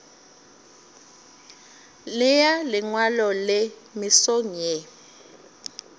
nea lengwalo le mesong ye